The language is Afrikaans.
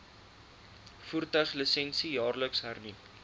voertuiglisensie jaarliks hernu